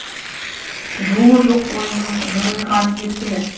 жылуы жоқ бойының жылмиғаны неткені